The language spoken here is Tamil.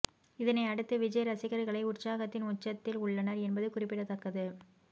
இதனை அடுத்து விஜய் ரசிகர்களை உற்சாகத்தின் உச்சத்தில் உள்ளனர் என்பது குறிப்பிடத்தக்கது